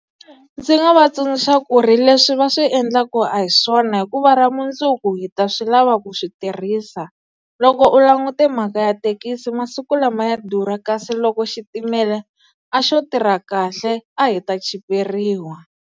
Ndzi nga va tsundzuxa ku ri leswi va swi endlaka a hi swona hikuva ra mundzuku hi ta swi lava ku swi tirhisa loko u langute mhaka ya thekisi masiku lama ya durha kasi loko xitimela a xo tirha kahle a hi ta chiperiwa.